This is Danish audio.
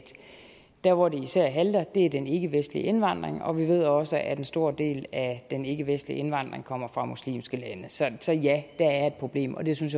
der hvor det især halter er den ikkevestlige indvandring og vi ved også at en stor del af den ikkevestlige indvandring kommer fra muslimske lande så ja der er et problem og jeg synes